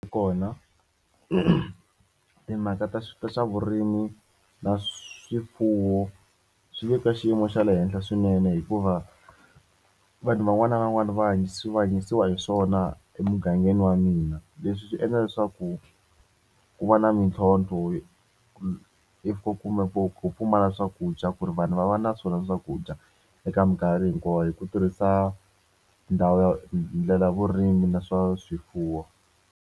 Kona timhaka ta swa vurimi na swifuwo swi le ka xiyimo xa le henhla swinene hikuva vanhu van'wani na van'wani va hanyisiwa hanyisiwa hi swona emugangeni wa mina leswi swi endla leswaku ku va na mintlhontlho if kumbe ku pfumala swakudya ku ri vanhu va va na swona swakudya eka minkarhi hinkwawo hi ku tirhisa ndhawu ya ndlela vurimi na swa swifuwo.